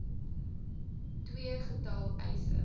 ii getal eise